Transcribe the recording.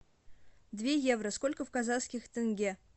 две евро сколько в казахских тенге